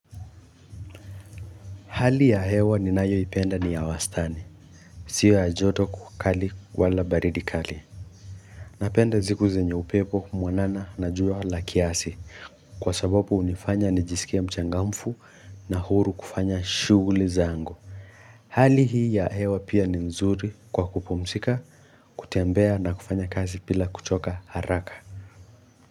Hali ya hewa ninayoipenda ni ya wastani. Sio ya joto kali wala baridi kali. Napenda ziku zenye upepo mwanana na jua la kiasi kwa sababu hunifanya nijisikie mchangamfu na huru kufanya shughuli zangu. Hali hii ya hewa pia ni mzuri kwa kupumzika, kutembea na kufanya kazi bila kuchoka haraka.